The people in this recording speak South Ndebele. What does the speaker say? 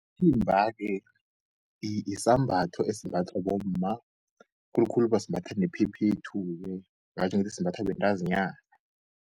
Isithimba-ke yisambatho esimbathwa bomma khulukhulu basimbatha nephephethu-ke ngatjho ngithi simbathwa bentazinyana.